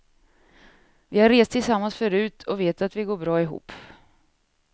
Vi har rest tillsammans förut och vet att vi går bra ihop.